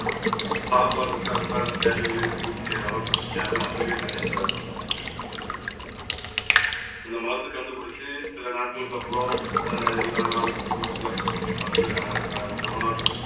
சாப்பாடு இருக்கு அன்றாட தேவைகளையும் பூர்த்தி செய்ற அளவுக்கு முடியாம அதுலயும் நிறைய பேர் இறந்து போனாங்க. இந்த மருந்து கண்டுபிடிச்சு சில நாட்களுக்கு அப்புறம் அஹ் எல்லா நாடுகளுக்கு வந்து அஹ் அஹ் நம்ம நாடு